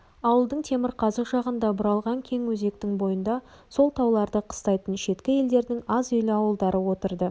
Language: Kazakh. ауылдың темірқазық жағында бұралған кең өзектің бойында сол тауларды қыстайтын шеткі елдердің аз үйлі ауылдары отырды